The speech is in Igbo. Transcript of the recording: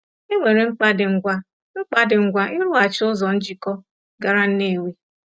E nwere mkpa dị ngwa mkpa dị ngwa ịrụghachi ụzọ njikọ gara Nnewi.